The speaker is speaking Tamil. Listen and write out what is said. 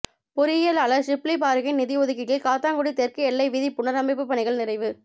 பொறியியலாளர் ஷிப்லி பாறுக்கின் நிதியொதுக்கீட்டில் காத்தான்குடி தெற்கு எல்லை வீதி புனரைமப்புப் பணிகள் நிறைவு